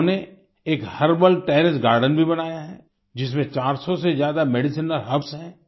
उन्होंने एक herbal terrace garden भी बनाया है जिसमें 400 से ज्यादा मेडिसिनल हर्ब्स हैं